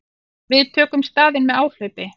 Við tökum staðinn með áhlaupi.